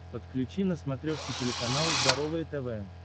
подключи на смотрешке телеканал здоровое тв